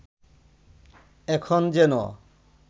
এখন যেন